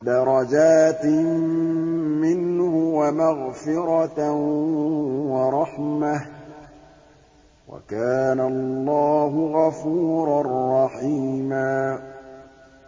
دَرَجَاتٍ مِّنْهُ وَمَغْفِرَةً وَرَحْمَةً ۚ وَكَانَ اللَّهُ غَفُورًا رَّحِيمًا